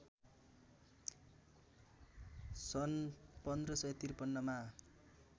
सन् १५५३ मा